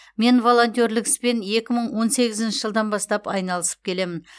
мен волонтерлік іспен екі мың он сегізінші жылдан бастап айналысып келемін